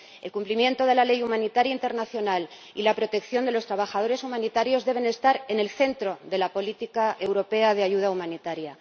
El cumplimiento de la ley humanitaria internacional y la protección de los trabajadores humanitarios deben estar en el centro de la política europea de ayuda humanitaria.